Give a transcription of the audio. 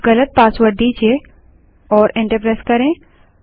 कुछ गलत पासवर्ड दीजिए और एंटर प्रेस करें